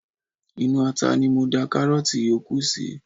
Inú ata ni mo da karoti yòókù sí.